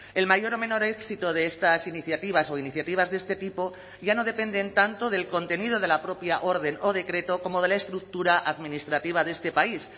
el mayor o menor éxito de estas iniciativas o iniciativas de este tipo ya no dependen tanto del contenido de la propia orden o decreto como de la estructura administrativa de este país